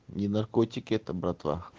не наркотики это братва